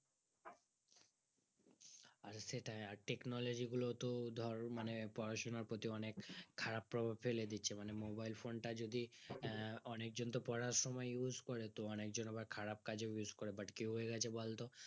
আরে সেটাই আর Technology গুলো তো ধর মানে পড়াশোনার প্রতি অনিক খারাপ প্রভাব ফেলে দিচ্ছে মানে Mobile phone টা যদি অনিক জন তো পড়ার সময় use করে তো অনিক জন আবার খারাপ কাজেও use করে but কি হয়ে গেছে বলতো